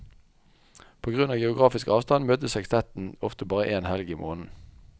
På grunn av geografisk avstand møtes sekstetten ofte bare én helg i måneden.